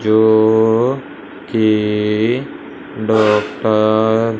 जो की डॉक्टर --